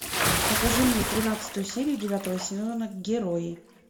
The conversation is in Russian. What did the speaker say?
покажи мне тринадцатую серию девятого сезона герои